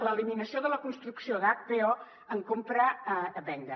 l’eliminació de la construcció d’hpo en compravenda